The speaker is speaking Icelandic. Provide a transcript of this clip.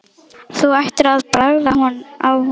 Þú ættir að bragða á honum